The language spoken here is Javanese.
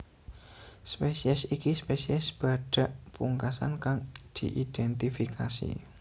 Spesies iki spesies badhak pungkasan kang diidhentifikasi